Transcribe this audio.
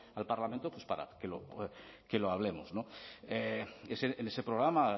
al parlamento para que lo hablemos en ese programa